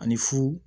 Ani fu